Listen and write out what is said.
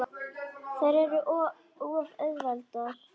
Þær eru of auðveld bráð.